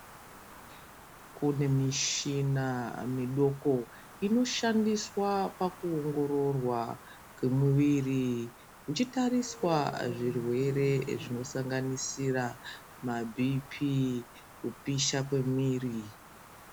Kune mishina midoko inoshandiswa pakuongororwa kwemuviri kuchitariswa zvirwere zvinosanganisira maBP, kupisha kwemwiri.